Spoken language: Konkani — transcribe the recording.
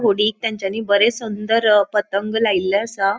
होडीक तेन्चानी बरे सुंदर पतंग लायल्ले आसा.